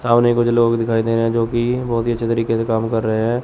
सामने कुछ लोग दिखाई दे रहे हैं जो की बहोत ही अच्छे तरीके से कम कर रहे हैं।